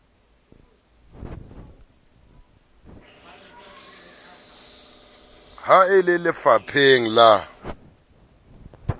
ha e le lefapheng la